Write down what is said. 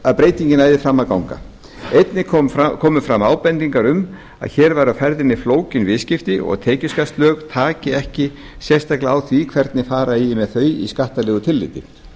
að breytingin næði fram að ganga einnig komu fram ábendingar um að hér væru á ferðinni flókin viðskipti og tekjuskattslög taki ekki sérstaklega á því hvernig fara eigi með þau í skattalegu tilliti